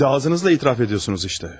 Kəndi ağzınızla etiraf edirsiniz işte.